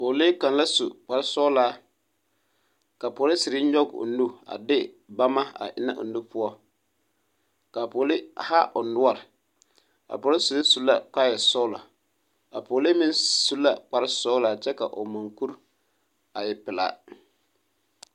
Pɔɔlee kaŋ la su kparsɔɔlaa ka polisiri nyɔɡe o nu a de bamma a ennɛ a o nu poɔ ka a pɔɡelee haa o noɔre a polisiri su la kaayɛsɔɔlɔ a pɔɔlee meŋ su kparsɔɔlaa kyɛ ka o mɔŋkuri a e pelaa.